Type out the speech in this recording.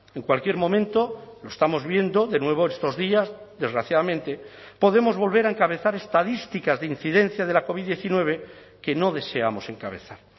en cualquier momento lo estamos viendo de nuevo estos días desgraciadamente podemos volver a encabezar estadísticas de incidencia de la covid diecinueve que no deseamos encabezar